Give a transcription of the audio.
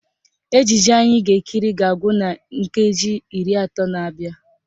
Ejije anyị ga-ekiri ga-agwụ na nkeji iri atọ na-abịa